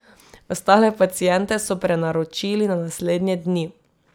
Ostale paciente so prenaročili za naslednje dni.